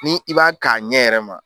Ni i b'a ka ɲɛ yɛrɛ ma